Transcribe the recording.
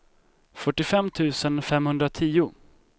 fyrtiofem tusen femhundratio